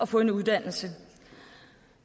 få en uddannelse